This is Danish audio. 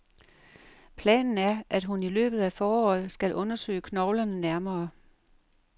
Planen er, at hun i løbet af foråret skal undersøge knoglerne nærmere.